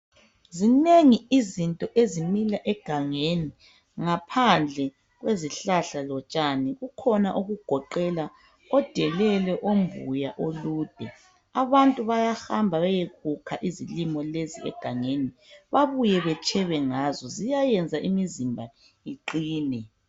Zinengi izinto ezimila egangeni ngaphandle kwezihlahla lotshani kukhona okugoqela odelele , ombuya ,olude , abantu bayahamba bayekukha izilimo lezi egangeni babuye betshebe ngazo , ziyayenza imizimba iqine